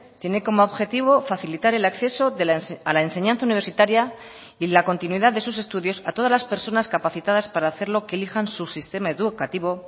tiene como objetivo facilitar el acceso a la enseñanza universitaria y la continuidad de sus estudios a todas las personas capacitadas para hacerlo que elijan su sistema educativo